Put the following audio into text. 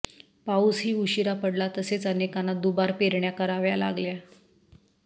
पाऊसही उशिरा पडला तसेच अनेकांना दुबार पेरण्या कराव्या लागल्या